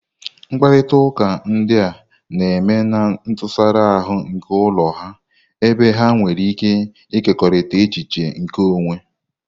Mkparịta ụka ndị a na-eme na ntụsara ahụ nke ụlọ ha, ebe ha nwere ike ịkekọrịta echiche nke onwe.